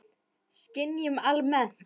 Skynjun almennt